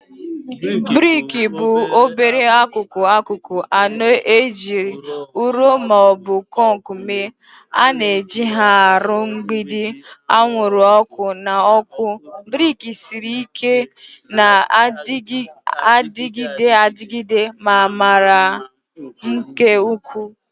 Briki bụ obere akụkụ akụkụ anọ ejiri ụrọ ma ọ bụ kọnk mee. A na-eji ha arụ mgbidi, anwụrụ ọkụ, na ọkụ. Brick siri ike, na-adịgide adịgide, ma mara mma nke ukwuu